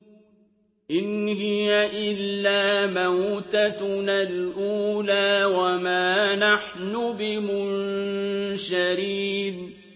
إِنْ هِيَ إِلَّا مَوْتَتُنَا الْأُولَىٰ وَمَا نَحْنُ بِمُنشَرِينَ